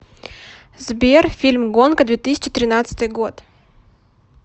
сбер фильм гонка две тысячи тринадцатый год